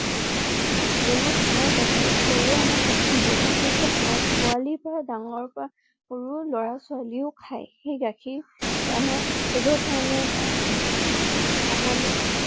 গৰু আমাৰ গাখীৰ। গৰুৱে আমাক গাখীৰ দিয়ে। গাখীৰ টো আমাৰ পোৱালি বা ডাঙৰ পৰা সৰুৰ লৰা ছোৱালী ও খাই। সেই গাখীৰ আমাৰ ঔষধৰ কাৰণে বা খাবলৈ